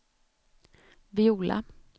Viola